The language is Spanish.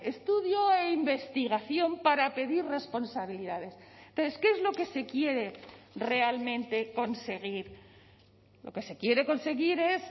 estudio e investigación para pedir responsabilidades pero es que es lo que se quiere realmente conseguir lo que se quiere conseguir es